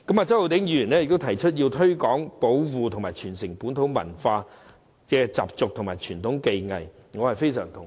周浩鼎議員提出要"推廣、保護及傳承本土文化、習俗及傳統技藝"，我對此非常同意。